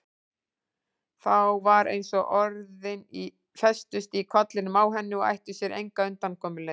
Þá var eins og orðin festust í kollinum á henni og ættu sér enga undankomuleið.